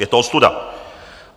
Je to ostuda.